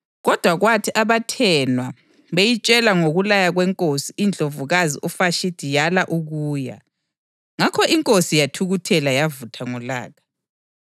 Kodwa kwathi abathenwa beyitshela ngokulaya kwenkosi, iNdlovukazi uVashithi yala ukuya. Ngakho inkosi yathukuthela yavutha ngolaka.